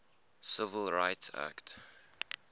civil rights act